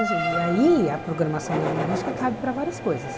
E assim e aí, a Programação Neurolinguística cabe para várias coisas.